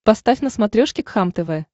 поставь на смотрешке кхлм тв